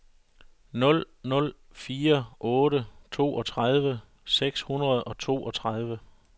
nul nul fire otte toogtredive seks hundrede og toogtredive